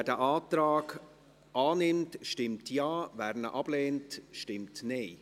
Wer diesen Antrag annimmt, stimmt Ja, wer diesen ablehnt, stimmt Nein.